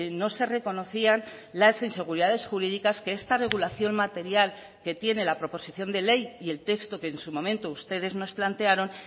no se reconocían las inseguridades jurídicas que esta regulación material que tiene la proposición de ley y el texto que en su momento ustedes nos plantearon